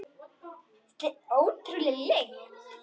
Þetta er ótrúleg lykt.